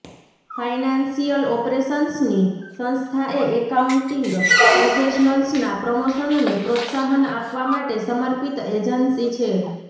financial ઓપરેશન્સની સંસ્થા એ એકાઉન્ટિંગ પ્રોફેશનલ્સના પ્રમોશનને પ્રોત્સાહન આપવા માટે સમર્પિત એજન્સી છે